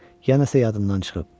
Ya nəsə yadından çıxıb.